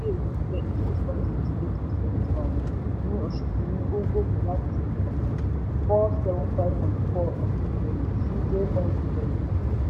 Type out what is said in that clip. rí èrè six point six percent um ní oṣù kìíní ó gòkè láti um four seven five point four um billion sí six zero two point two billion.